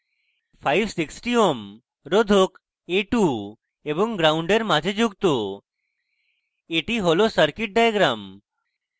560 ohm রোধক a2 এবং gnd এর মাঝে যুক্ত এটি হল circuit diagram